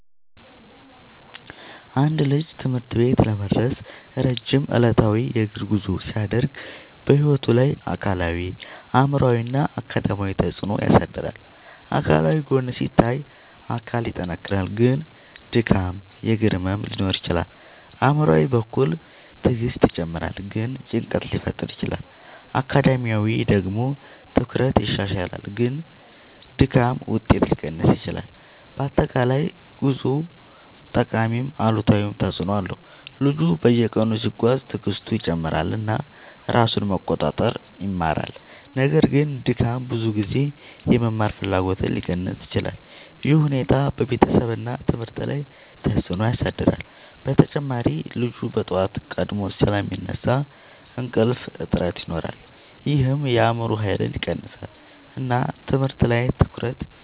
አንድ ልጅ ትምህርት ቤት ለመድረስ ረጅም ዕለታዊ የእግር ጉዞ ሲያደርግ በሕይወቱ ላይ አካላዊ አእምሯዊ እና አካዳሚያዊ ተፅዕኖ ያሳድራል። አካላዊ ጎን ሲታይ አካል ይጠናከራል ግን ድካም እግር ህመም ሊኖር ይችላል። አእምሯዊ በኩል ትዕግስት ይጨምራል ግን ጭንቀት ሊፈጠር ይችላል። አካዳሚያዊ ደግሞ ትኩረት ይሻሻላል ግን ድካም ውጤት ሊቀንስ ይችላል። በአጠቃላይ ጉዞው ጠቃሚም አሉታዊም ተፅዕኖ አለው። ልጁ በየቀኑ ሲጓዝ ትዕግስቱ ይጨምራል እና ራሱን መቆጣጠር ይማራል። ነገር ግን ድካም ብዙ ጊዜ የመማር ፍላጎትን ሊቀንስ ይችላል። ይህ ሁኔታ በቤተሰብ እና ትምህርት ላይ ተጽዕኖ ያሳድራል። በተጨማሪ ልጁ በጠዋት ቀድሞ ስለሚነሳ እንቅልፍ እጥረት ይኖራል ይህም የአእምሮ ኃይልን ይቀንሳል እና ትምህርት ላይ ትኩረት